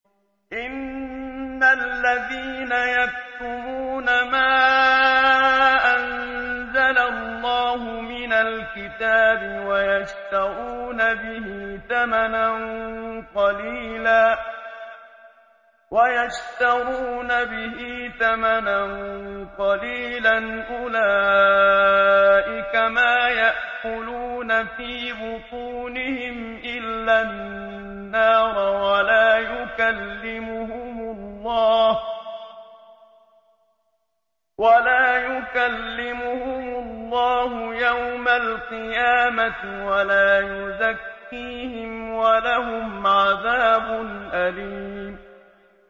إِنَّ الَّذِينَ يَكْتُمُونَ مَا أَنزَلَ اللَّهُ مِنَ الْكِتَابِ وَيَشْتَرُونَ بِهِ ثَمَنًا قَلِيلًا ۙ أُولَٰئِكَ مَا يَأْكُلُونَ فِي بُطُونِهِمْ إِلَّا النَّارَ وَلَا يُكَلِّمُهُمُ اللَّهُ يَوْمَ الْقِيَامَةِ وَلَا يُزَكِّيهِمْ وَلَهُمْ عَذَابٌ أَلِيمٌ